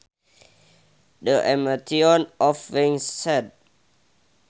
The emotion of being sad